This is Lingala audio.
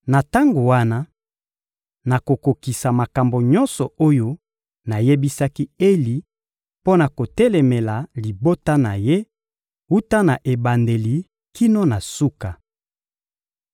Na tango wana, nakokokisa makambo nyonso oyo nayebisaki Eli mpo na kotelemela libota na ye, wuta na ebandeli kino na suka.